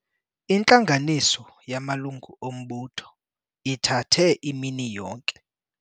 Intlanganiso yamalungu ombutho ithathe imini yonke.